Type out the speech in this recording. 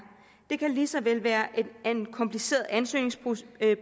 det kan lige så vel være en kompliceret ansøgningsprocedure